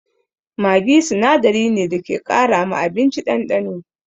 Maggi sinadari ne da ke ƙara ma abinci ɗanɗano.